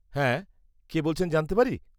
-হ্যাঁ, কে বলছেন জানতে পারি?